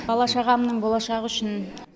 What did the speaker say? бала шағамның болашағы үшін